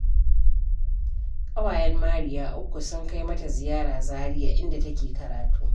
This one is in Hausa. Ƙawayen Mariya uku sun kai mata Ziyara Zariya inda take karatu